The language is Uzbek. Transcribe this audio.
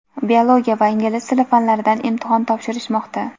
biologiya va ingliz tili fanlaridan imtihon topshirishmoqda.